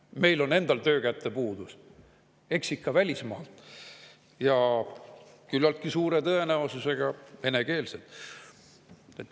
Kui meil on endal töökäte puudus, siis eks ikka välismaalt, ja küllaltki suure tõenäosusega on nad venekeelsed.